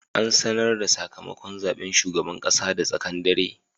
An sanar da sakamakon zaben shugaban kasa da tsaken dare.